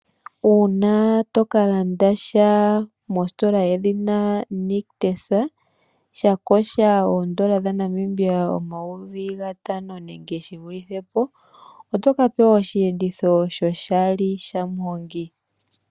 Uuna tokalanda sha mositola yedhina nictus tyakosha oodnola dhaNamibia omayovi gatano nenge shivulithe po, oto kapewa oshihenditho shoshali shamuhongi.